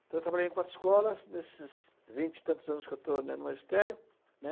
Então, eu trabalhei em quatro escolas nesses vinte e tantos anos que eu estou no magistério, né?